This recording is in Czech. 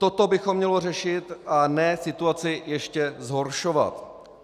Toto bychom měli řešit, a ne situaci ještě zhoršovat.